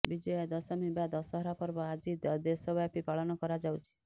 ବିଜୟା ଦଶମୀ ବା ଦଶହରା ପର୍ବ ଆଜି ଦେଶବ୍ୟାପୀ ପାଳନ କରାଯାଉଛି